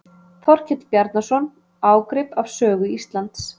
Þorkell Bjarnason: Ágrip af sögu Íslands.